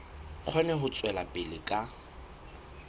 kgone ho tswela pele ka